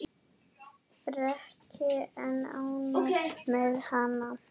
Breki: En ánægð með hana?